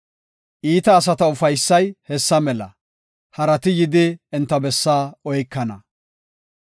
Iita asata ufaysay hessa mela; harati yidi enta bessaa oykana.